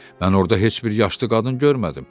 Mən orda heç bir yaşlı qadın görmədim.